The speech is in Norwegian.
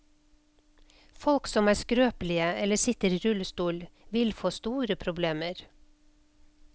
Folk som er skrøpelige eller sitter i rullestol, vil få store problemer.